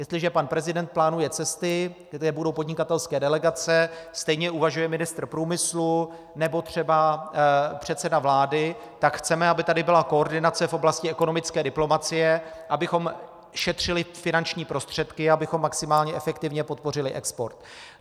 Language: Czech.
Jestliže pan prezident plánuje cesty, kde budou podnikatelské delegace, stejně uvažuje ministr průmyslu nebo třeba předseda vlády, tak chceme, aby tady byla koordinace v oblasti ekonomické diplomacie, abychom šetřili finanční prostředky, abychom maximálně efektivně podpořili export.